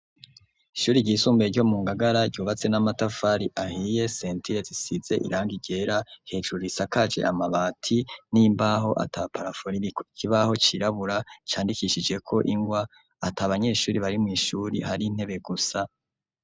Ishuri ryisumbuye ryo mu Ngagara, ryubatse n'amatafari ahiye, sentire zisize irangi ryera, hejuru isakaje amabati n'imbaho ata parafo ririko, ikibaho cirabura candikishijeko ingwa at'abanyeshuri bari mw'ishure hari intebe gusa.